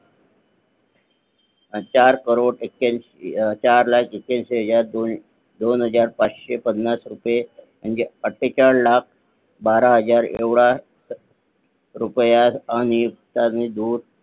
चार करोड चार लाख एक्यईंशी हजार पाचशे पन्नास रुपय म्हणजे अठेचाळीस लाख बारा हजार एवढा रुपय आणि कारणीभूत